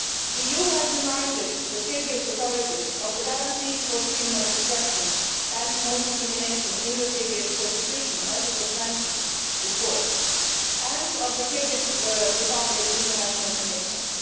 The EU has reminded the Kyrgyz authorities of the guarantees for freedom of expression and non discrimination in the Kyrgyz Constitution, as was mentioned before, and of the Kyrgyz Republic's international commitments.